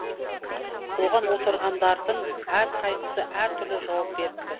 оған отырғандардың әрқайсысы әртүрлі жауап беріпті